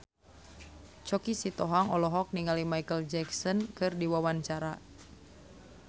Choky Sitohang olohok ningali Micheal Jackson keur diwawancara